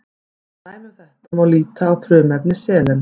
Sem dæmi um þetta má líta á frumefni selen.